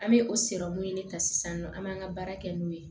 An bɛ o ɲini ka sisannɔ an b'an ka baara kɛ n'o ye